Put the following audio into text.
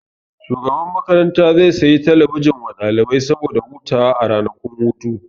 Shugaban makaranta zai sayi talabijin wa ɗalibai saboda hutawa a ranakun hutu